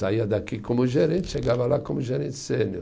Saía daqui como gerente, chegava lá como gerente sênior.